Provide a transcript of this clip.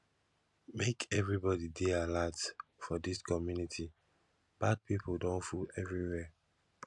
make everybody dey alert for dis community bad pipo don full everywhere